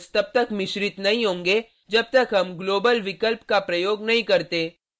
ये वैरिएबल्स तब तक मिश्रित नहीं होंगें जब तक हम ग्लोबल विकल्प का प्रयोग नहीं करते